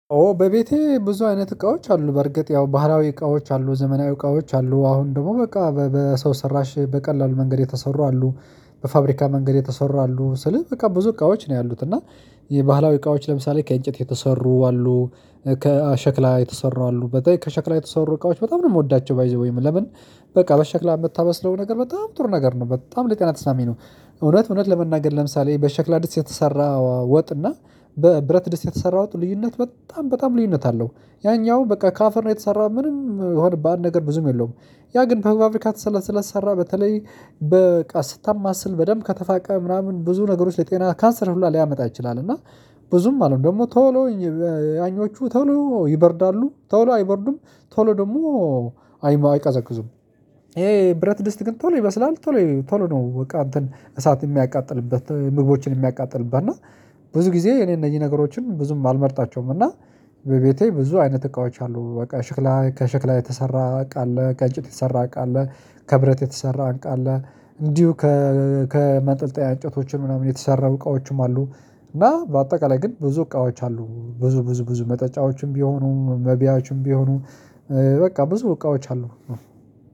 ኦ በቤቴ ብዙ አይነት እቃዎች አሉ በርግጥ ያው ባህላዊ እቃዎች አሉ ዘመናዊ እቃዎች አሉ አሁን ደግሞ በቃ በሰው ሰራሽ በቀላሉ መንገድ የተሰሩ አሉ። በፋብሪካ መንገድ የተሰሩ አሉ ስል በቃ ብዙ እቃዎች ነው ያሉት እና የባህላዊ እቃዎች ለምሳሌ ከእንጨት የተሰሩ አሉ። ከሸክላ የተሰሩ በጣም ከሸክላ የተሰሩ እቃዎች በጣም ነው የምወዳቸው ባይ ዘ ዌይ ለምን በቃ በሸክላ የምታበስለው ነገር በጣም ጥሩ ነገር ነው በጣም ለቀናት አስማሚ ነው። እውነት እውነት ለመናገር ለምሳሌ በሸክላ ድስ የተሰራ ወጥና በብረት ድስት የተሰራ ልዩነት በጣም በጣም ልዩነት አለው። ያኛው በቃ ካፈር ነው የተሰራው ምንም ሆድ በአንድ ነገር ብዙም የለውም። ያ ግን በፋብሪካ ስለ ተሰራ በተለይ በቃ ስታማስል በደንብ ከተፋቀ ምናምን ብዙ ነገሮች ለጤና ካንሰር ሁሉ ሊያመጣ ይችላል። እና ብዙም አለው ደግሞ ቶሎ ያኞቹ ተሎ ይበርዳሉ ተው አይበርዱም። ተሎ ደግሞ አይቀዘቅዙም። ይሄ ብረት ድስት ግን ቶሎ ይበስላል ቶሎ ቶሎ ነው በቃ እሳት የሚያቃጥልበት ምግቦችን የሚያቃጥልበት እና ብዙ ጊዜ እኔ እነዚህ ነገሮችን ብዙም አልመርጣቸውም። እና በቤቴ ብዙ አይነት እቃዎች አሉ። በቃ ሽክላ ከሽክላ የተሰራ አቃለ ከጭት የተሰራ አለ። ከብረት የተሰራ እቃ አለ። እንዲሁ ከመጠልጠያ እንጨቶች ምናምን የተሰራ እቃዎችም አሉ። እና በአጠቃላይ ግን ብዙ እቃዎች አሉ ብዙ ብዙ ብዙ መጠጫዎችም ቢሆኑ መቢያችም ቢሆኑ በቃ ብዙ እቃዎች አሉ።